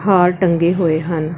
ਹਾਰ ਟੰਗੇ ਹੋਏ ਹਨ।